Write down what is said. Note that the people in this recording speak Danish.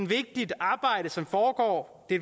vigtigt arbejde som foregår i